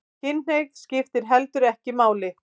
Kynhneigð skiptir heldur ekki máli